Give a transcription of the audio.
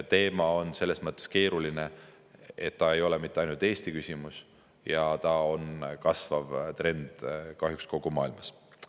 Teema on selles mõttes keeruline, et see ei ole mitte ainult Eesti küsimus ja see on kahjuks kasvav trend kogu maailmas.